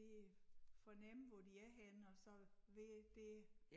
Lige fornemme hvor de er henne og så være dér